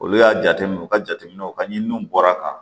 Olu y'a jateminɛ u ka jateminɛw ka ɲi n'u bɔra kan